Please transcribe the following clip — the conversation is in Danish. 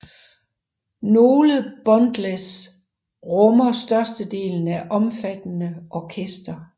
Nogle bundles rummer størstedelen af omfattende orkester